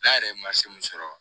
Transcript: N'a yɛrɛ ye min sɔrɔ